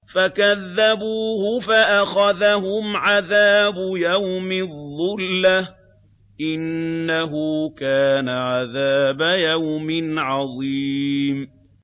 فَكَذَّبُوهُ فَأَخَذَهُمْ عَذَابُ يَوْمِ الظُّلَّةِ ۚ إِنَّهُ كَانَ عَذَابَ يَوْمٍ عَظِيمٍ